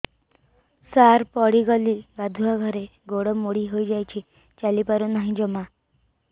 ସାର ପଡ଼ିଗଲି ଗାଧୁଆଘରେ ଗୋଡ ମୋଡି ହେଇଯାଇଛି ଚାଲିପାରୁ ନାହିଁ ଜମା